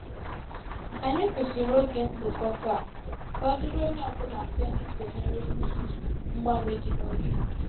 Ànyị kwụsịrị ògè nzukọ taa, ka ọ dịrị onye ọ bụla mfe n’ịsonyere n’ihi mgbanwe dị na oge ha.